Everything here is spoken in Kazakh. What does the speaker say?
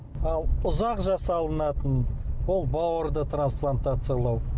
ал ұзақ жасалынатын ол бауырды трансплантациялау